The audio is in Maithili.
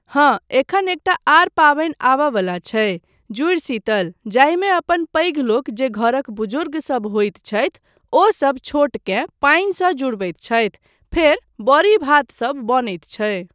हाँ एखन एकटा आर पाबनि आबयवला छै, जूड़शीतल, जाहिमे अपन पैघलोक जे घरक बुजुर्गसब होइत छथि ओसब छोटकेँ पानिसँ जुड़बैत छथि फेर बड़ी भातसब बनैत छै।